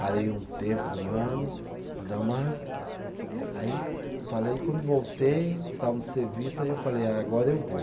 Parei um tempo, um ano, para dar uma. Aí falei quando voltei, estava no serviço, aí eu falei, agora eu vou.